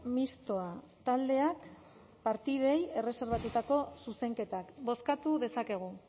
mistoa taldeak partidei erreserbatutako zuzenketak bozkatu dezakegu